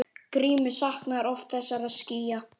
Grímur saknar oft þessara skýja.